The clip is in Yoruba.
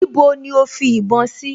Níbo ni ó fi ìbọn sí?